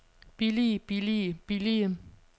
billige billige billige